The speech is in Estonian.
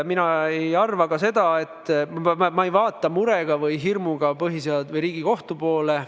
Ma ei vaata mure või hirmuga Riigikohtu poole.